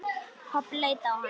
Pabbi leit á hann.